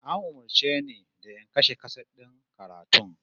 An umurce ni da in kashe kaset din karatun?